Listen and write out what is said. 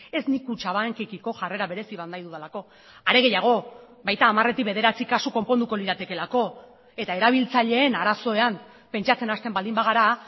ez nik kutxabankekiko jarrera berezi bat nahi dudalako are gehiago baita hamaretik bederatzi kasu konponduko liratekeelako eta erabiltzaileen arazoan pentsatzen hasten baldin bagara